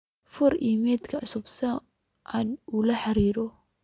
fur iimayl cusub si aad ula xiriiro